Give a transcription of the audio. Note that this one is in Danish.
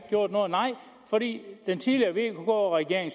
gjort noget nej fordi den tidligere vk regering